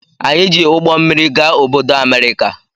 Anyị ji ụgbọ mmịrị gaa obodo America.